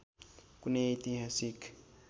कुनै ऐतिहासिक